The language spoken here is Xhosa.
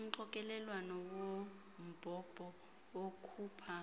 umxokelelwano wombhobho okhupha